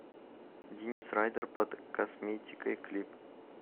денис райдер под косметикой клип